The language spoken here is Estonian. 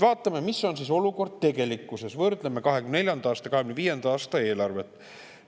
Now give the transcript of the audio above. Vaatame, mis on tegelik olukord, võrdleme 2024. aasta ja 2025. aasta eelarvet.